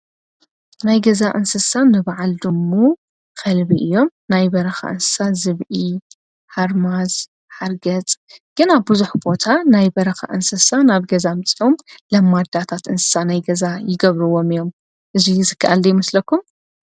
ናይ ገዛ እንስሳ ንበዓልድሙ ኸልቢ እዮም ናይ በረኻ እንሳ ዝብኢ ሓርማዝ ሓርገጽ ግና ብዙኅ ቦታ ናይ በረኻ እንስሳ ናብ ገዛምፂኦም ለ ማዳታት እንሳ ናይ ገዛ ይገብርዎም እዮም እዙይ ዝከኣልዶ ኣይምስለኩም?